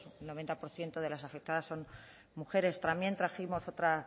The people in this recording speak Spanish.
el noventa por ciento de las afectadas son mujeres también trajimos otra